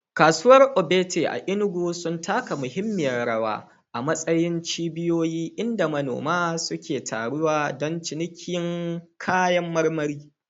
Kasuwar Ogbete a Enugu sun taka muhimmiyar rawa a matsayin cibiyoyi inda manoma suke taruwa don cinikin kayan marmari.